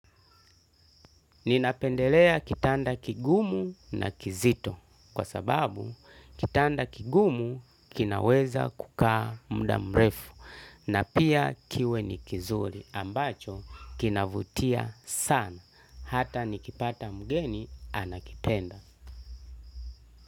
Ninapendelea kitanda kigumu na kizito kwa sababu kitanda kigumu kinaweza kukaa muda mrefu na pia kiwe ni kizuri ambacho kinavutia sana hata nikipata mgeni anakipenda.